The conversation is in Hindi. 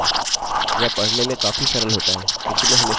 यह पढने में काफी सरल होता है किन्तु मैं हमेशा ही छोटे अक्षर पसंद करता हूँ